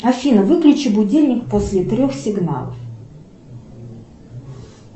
афина выключи будильник после трех сигналов